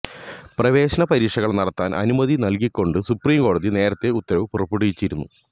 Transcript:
പ്രവേശന പരീക്ഷകൾ നടത്താൻ അനുമതി നൽകിക്കൊണ്ട് സുപ്രീംകോടതി നേരത്തെ ഉത്തരവ് പുറപ്പെടുവിച്ചിരുന്നു